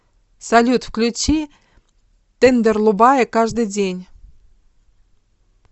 салют включи тендерлубае каждый день